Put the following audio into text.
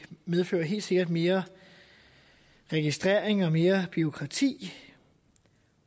medfører helt sikkert mere registrering og mere bureaukrati